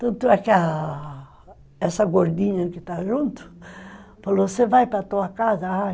Tanto é que a... Essa gordinha que está junto, falou, você vai para tua casa?